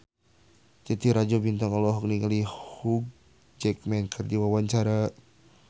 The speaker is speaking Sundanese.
Titi Rajo Bintang olohok ningali Hugh Jackman keur diwawancara